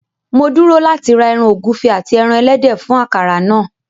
Mo dúró láti ra ẹran ọ̀gúfe ati ẹran ẹlẹ́dẹ̀ fún akara náà.